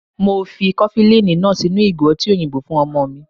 Mo fi kofilini náà sínú ìgò ọtí òyìnbó fún ọmọ mi.